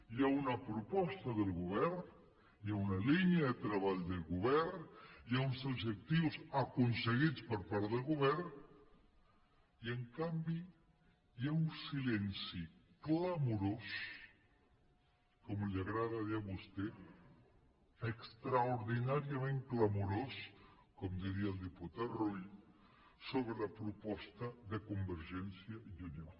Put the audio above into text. hi ha una proposta del govern hi ha una línia de treball del govern hi ha uns objectius aconseguits per part del govern i en canvi hi ha un silenci clamorós com li agrada dir a vostè extraordinàriament clamorós com diria el diputat rull sobre la proposta de convergència i unió